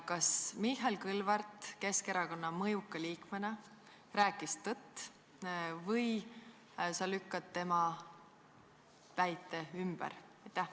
Kas Mihhail Kõlvart Keskerakonna mõjuka liikmena rääkis tõtt või sa lükkad tema väite ümber?